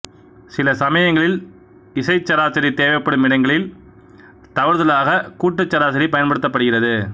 சில சமயங்களில் இசைச் சராசரி தேவைப்படும் இடங்களில் தவறுதலாக கூட்டுச் சராசரி பயன்படுத்தப்படுகிறது